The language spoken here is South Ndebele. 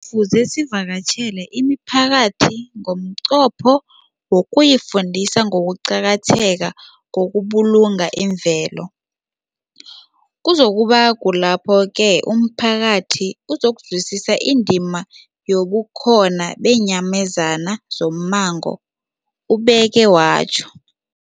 Kufuze sivakatjhele imiphakathi ngomnqopho wokuyifundisa ngokuqakatheka kokubulunga imvelo. Kuzoku ba kulapho-ke umphakathi uzokuzwisisa indima yobukhona beenyamazana zommango, ubeke watjho.